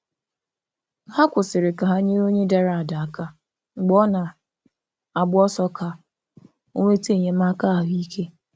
Ha kwụsịrị ka ha nyere onye dara ada aka mgbe ọ na - agba ọsọ ka o nweta enyemaka ahụ ike.